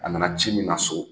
A nana ci min na so